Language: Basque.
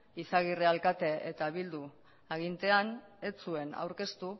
izagirre alkate eta bildu agintean ez zuen aurkeztu